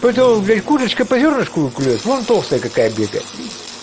у этого блять курочка по зёрнышку клюёт вон толстая какая бегает